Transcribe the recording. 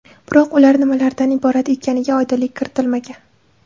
Biroq ular nimalardan iborat ekaniga oydinlik kiritilmagan.